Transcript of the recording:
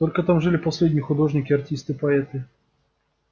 только там жили последние художники артисты поэты